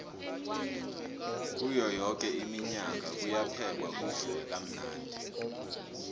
kuyo yoke iminyanya kuyaphekwa kudliwe kamnandi